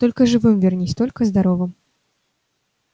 только живым вернись только здоровым